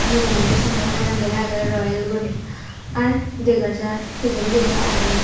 mujungedi sambodtanot lega agey royal guri ar dega jar pijendio agey.